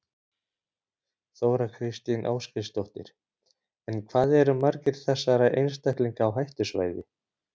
Þóra Kristín Ásgeirsdóttir: En hvað eru margir þessara einstaklinga á hættusvæði?